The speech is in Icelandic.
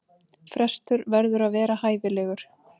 Frestur verður að vera hæfilegur.